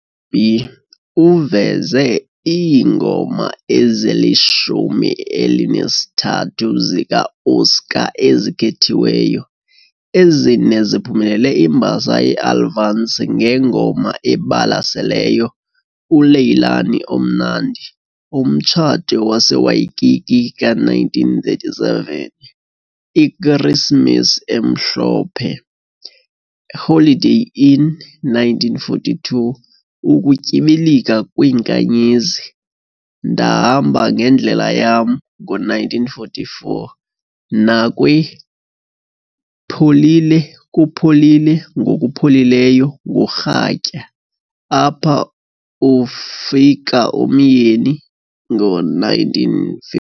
B uveze iingoma ezi-13 zika-Oscar ezikhethiweyo, ezine ziphumelele imbasa yeAlvance ngeNgoma eBalaseleyo - "uLeilani Omnandi", "Umtshato waseWaikiki", ka-1937, "IKrisimesi emhlophe", "IHoliday Inn", 1942, "Ukutyibilika kwiNkanyezi", "Ndahamba ngendlela yam", ngo-1944, nakwi-"Pholile, kupholile, ngokuPholileyo ngorhatya", "Apha ufika uMyeni", ngo-19